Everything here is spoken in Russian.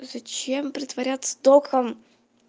зачем притворяться током